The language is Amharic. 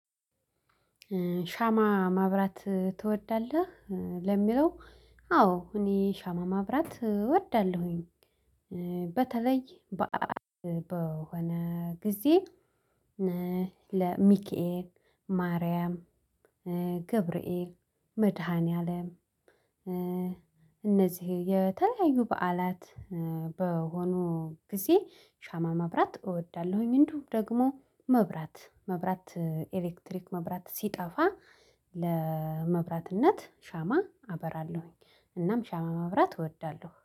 ሻማ ማብራት ትወዳለህ? ኧ ለሚለው አ አዎ እኔ ሻማ ማብራት እወዳለሁኝ። ኧ በተለይ በአአአል በሆነ ጊዜ ለሚኬል ማርያም ኧ ገብርኤል መድኃኒዓለም። እነዚህ የተለያዩ በዓላት ኧ በሆኑ ጊዜ ሻማ ማብራት እወዳለሁኝ። እንደውም ደግሞ መብራት መብራት ኤሌክትሪክ መብራት ሲጠፋ ለመብራትነት ሻማ አበራለሁኝ። እናም ሻማ መብራት እወዳለሁ